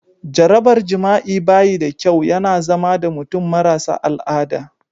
Jarabar jima'i ba yi da kyau, ya na zama da mutum marasa al'ada.